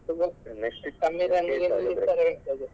ಕಮ್ಮಿ run ಗೆ ನಿಲ್ಲಿಸ್ತಾನೆ ಇರ್ತಾರೆ.